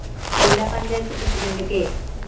ജില്ലാ panchayat president K